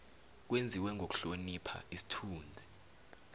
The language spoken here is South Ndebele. kwenziwe ngokuhlonipha isithunzi